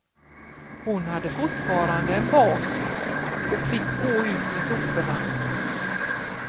Hon hade fortfarande en bas och fick gå ut med soporna.